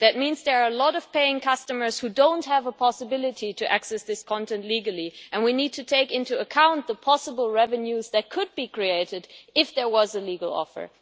This means that there are a lot of paying customers who do not have the possibility to access this content legally. We need to take into account the possible revenues that could be created if there was a legal offer.